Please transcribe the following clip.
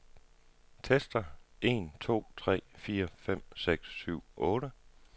Tester en to tre fire fem seks syv otte.